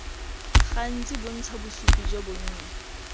gantsi bontsha bosupi jo bonnye